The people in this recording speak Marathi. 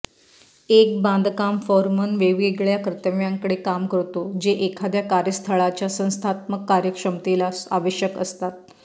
एक बांधकाम फोरमन वेगवेगळ्या कर्तव्यांकडे काम करतो जे एखाद्या कार्यस्थळाच्या संस्थात्मक कार्यक्षमतेला आवश्यक असतात